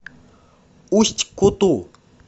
усть куту